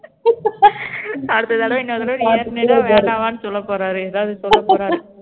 அடுத்த தடவை இன்னொரு தடவை நீ ஏறுனீன்னா வேண்டமான்னு சொல்லப்போறாரு எதாவது சொல்லப்போறாரு